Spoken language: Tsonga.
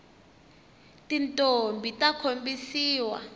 tintombhi ta khombisiwa